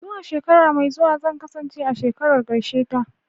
Zuwa shekara mai zuwa zan kasance a shekarar karshe ta.